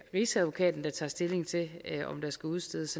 rigsadvokaten der tager stilling til om der skal udstedes